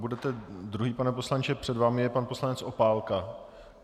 Budete druhý, pane poslanče , před vámi je pan poslanec Opálka.